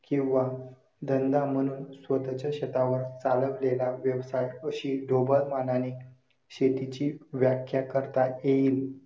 किंवा धंदा म्हणून स्वतःच्या शेतावर चालविलेला व्यवसाय अशी ढोबळमानाने शेतीची व्याख्या करता येईल.